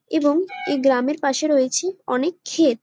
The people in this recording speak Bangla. এবং এই গ্রাম পাশে রয়েছে অনেক খেত।